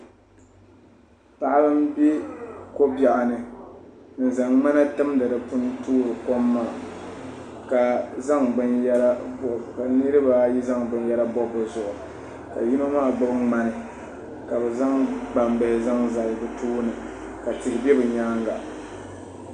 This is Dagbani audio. Paɣa n bɛ ko biɛɣu ni n zaŋ ŋmana timdi di puuni toori kom maa ka nirabaayi zaŋ binyɛra bob bi zuɣu ka yino maa gba nimaani ka bi zaŋ gbambihi zaŋ zali bi tooni ka tihi bɛ bi nyaanga